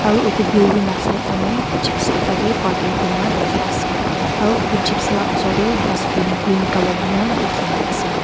aru otu building lah side fahne zipsi ekta be parking kuri na dikhi ase aru etu zipsi lah oshor teh dustbin green colour hoina dikhina ase.